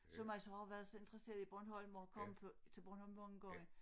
Som altså har været så interesseret i Bornholm og kommet på til Bornholm mange gange